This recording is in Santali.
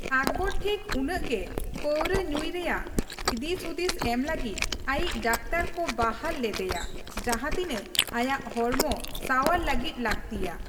ᱟᱠᱵᱚᱨ ᱴᱷᱤᱠ ᱩᱱᱟᱹᱜ ᱜᱮ ᱯᱟᱹᱣᱨᱟᱹ ᱧᱩᱭ ᱨᱮᱭᱟᱜ ᱫᱤᱥᱦᱩᱫᱤᱥ ᱮᱢ ᱞᱟᱹᱜᱤᱫ ᱟᱭᱤᱡ ᱰᱟᱠᱛᱚᱨ ᱠᱚ ᱵᱟᱦᱟᱞ ᱞᱮᱫᱮᱭᱟ ᱡᱟᱸᱦᱟ ᱛᱤᱱᱟᱹᱜ ᱟᱭᱟᱜ ᱦᱚᱲᱢᱚ ᱥᱟᱣᱟᱨ ᱞᱟᱹᱜᱤᱫ ᱞᱟᱹᱠᱛᱤᱭᱟ ᱾